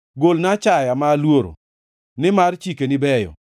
Golna achaya ma aluoro, nimar chikeni beyo.